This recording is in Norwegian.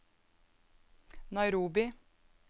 Nairobi